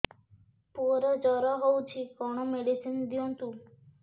ପୁଅର ଜର ହଉଛି କଣ ମେଡିସିନ ଦିଅନ୍ତୁ